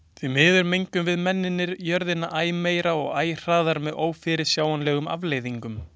Því miður mengum við mennirnir jörðina æ meira og æ hraðar með ófyrirsjáanlegum afleiðingum.